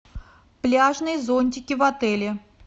пляжные зонтики в отеле